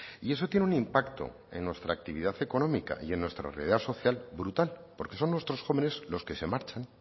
y eso tiene un impacto en nuestra actividad económica y en nuestra realidad social brutal porque son nuestros jóvenes los que se marchan